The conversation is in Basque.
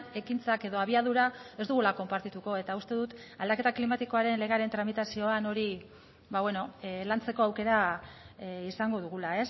ekintzak edo abiadura ez dugula konpartituko eta uste dut aldaketa klimatikoaren legearen tramitazioan hori lantzeko aukera izango dugula